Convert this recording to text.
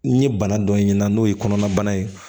N ye bana dɔ ye n'o ye kɔnɔnabana ye